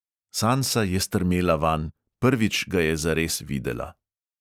Sansa je strmela vanj, prvič ga je zares videla.